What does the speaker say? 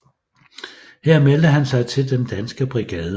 Her meldte han sig til Den Danske Brigade